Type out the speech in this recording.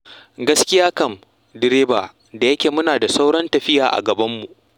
Gaskiya kam, direba, da yake muna da sauran tafiya a gabanmu.